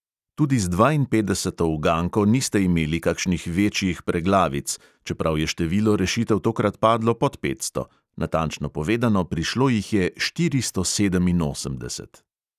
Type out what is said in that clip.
Tudi z dvainpetdeseto uganko niste imeli kakšnih večjih preglavic, čeprav je število rešitev tokrat padlo pod petsto – natančno povedano, prišlo jih je štiristo sedeminosemdeset.